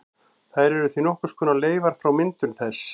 Þær eru því nokkurs konar leifar frá myndun þess.